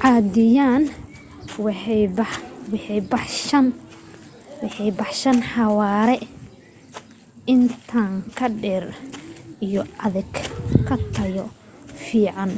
caadiyan waxay baxshaan xawaare intan ka dheer iyo adeeg ka tayo fiican